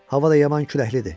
Hava da yaman küləklidir.